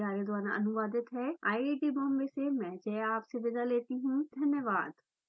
I I T Bombay से मैं श्रुति आर्य आपसे विदा लेती हूँ हमसे जुड़ने के लिए धन्यवाद